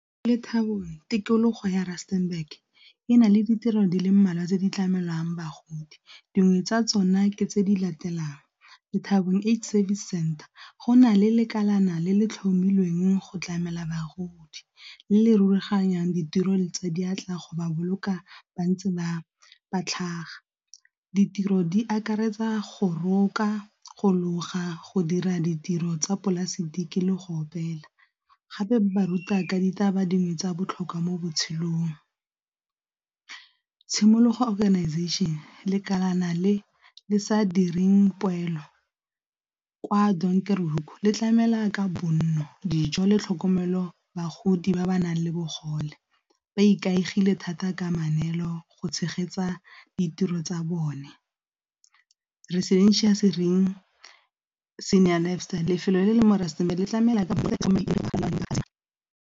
tikologo ya rustenburg e na le ditiro di le mmalwa tse di tlamelwang bagodi dingwe tsa tsona ke tse di latelang Lethabong Age Service Center, go na le lekalekana le le tlhomilweng go tlamela bagodi le rulaganyang ditiro tsa diatla go ba boloka ba ntse ba ba tlhaga. Ditiro di akaretsa go roka, go loga, go dira ditiro tsa polaseki le go opela, gape ba ruta ka ditaba dingwe tsa botlhokwa mo botshelong. Tshimologo organization le kana le le sa direng poelo kwa le tlamela ka bonno, dijo le tlhokomelo bagodi ba ba nang le bogole ba ikaegile thata ka go tshegetsa ditiro tsa bone, lefelo le le mo Rustenburg le tlamela ka .